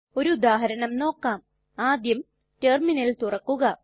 ഒരു ഉദാഹരണം നോക്കാം ആദ്യം ടെർമിനൽ തുറക്കുക